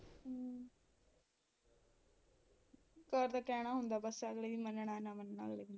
ਇੱਕ ਵਾਰ ਤਾਂ ਕਹਿਣਾ ਹੁੰਦਾ ਬੱਸ ਅਗਲੇ ਦੀ ਮੰਨਣਾ, ਨਾ ਮੰਨਣਾ ਅਗਲੇ ਦੀ